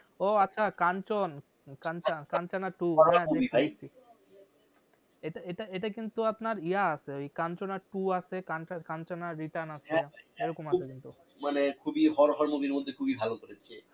ও আচ্ছা কাঞ্চন কাঞ্চন কাঞ্চনা two হ্যাঁ দেখেছি এটা এটা এটা কিন্তু আপনার ইয়ে আসে ওই কাঞ্চনা two আসে কাঞ্চ~কাঞ্চনা return আছে সেরকম আসে কিন্তু মানে খুবই হর হর movie র মধ্যে খুবই ভালো করেছে